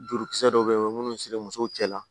Jurukisɛ dɔw bɛ yen o bɛ minnu siri muso cɛ la